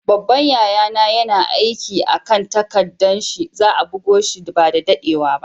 Babban yaya na yana aiki a'kan takaddan shi. Za'a bugo shi ba da daddewa ba.